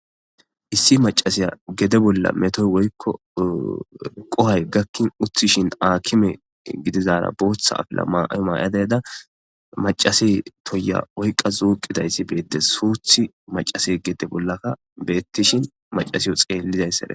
Issi macasiya gede bolla metoy woykko qohay gakkin uthishin akime gidizaara booththa afila ma maayadayda macase toya woykqa zuuqidayssi beetdes suuthi macase gede bollaka beettishin macasiyo xeellizayssare.